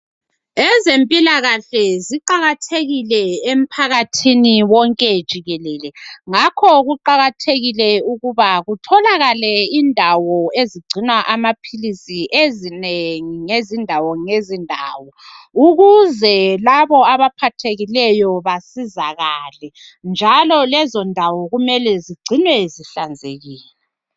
Ezempilakahle ziqakathekile emphakathini wonke jikelele ngakho kuqakathekile ukuthi kutholakale indawo ezigcina amaphilisi ezinengi nge zindawo nge zindawo, ukuze labo abaphathekileyo basizakale njalo lezindawo kumele zigcinwe zihlanzekile.